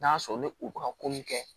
N'a sɔrɔ ni u bɛ ka ko mun kɛ